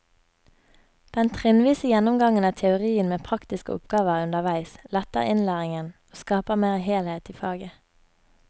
Den trinnvise gjennomgangen av teorien med praktiske oppgaver underveis letter innlæringen og skaper mer helhet i faget.